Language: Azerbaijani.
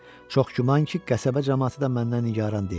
Çox güman ki, qəsəbə camaatı da məndən nigaran deyil.